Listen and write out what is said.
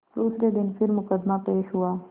दूसरे दिन फिर मुकदमा पेश हुआ